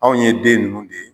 Anw ye den ninnu de ye.